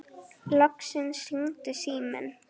Loksins hringdi síminn.